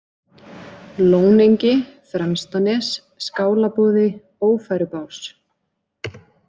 Lónengi, Fremstanes, Skálaboði, Ófærubás